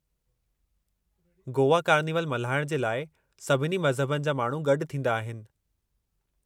Goa carnival मल्हाइण जे लाइ सभिनी मज़हबनि जा माण्हू गॾु थींदा आहिनि।